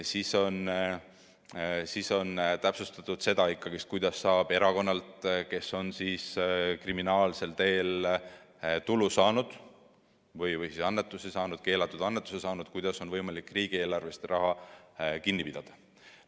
Samuti on täpsustatud seda, kuidas saab erakonnalt, kes on kriminaalsel teel tulu või keelatud annetuse saanud, riigieelarvest raha kinni pidada.